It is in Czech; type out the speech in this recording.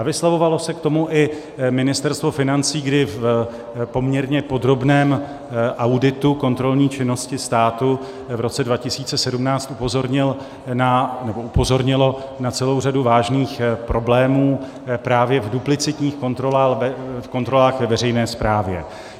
A vyslovovalo se k tomu i Ministerstvo financí, kdy v poměrně podrobném auditu kontrolní činnosti státu v roce 2017 upozornilo na celou řadu vážných problémů právě v duplicitních kontrolách ve veřejné správě.